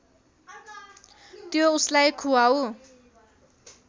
त्यो उसलाई खुवाऊ